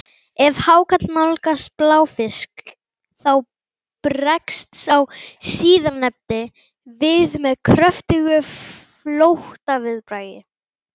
Ef hákarl nálgast bláfisk þá bregst sá síðarnefndi við með kröftugu flóttaviðbragði.